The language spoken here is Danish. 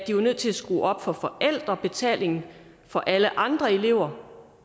nødt til at skrue op for forældrebetalingen for alle andre elever